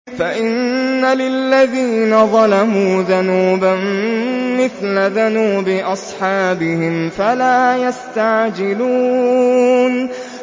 فَإِنَّ لِلَّذِينَ ظَلَمُوا ذَنُوبًا مِّثْلَ ذَنُوبِ أَصْحَابِهِمْ فَلَا يَسْتَعْجِلُونِ